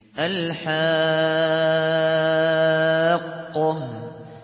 الْحَاقَّةُ